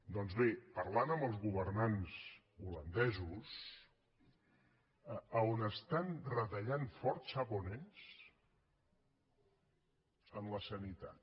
doncs bé parlant amb els governants holandesos on estan retallant fort sap on és en la sanitat